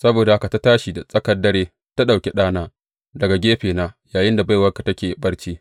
Saboda haka ta tashi da tsakar dare ta ɗauki ɗana daga gefena yayinda baiwarka take barci.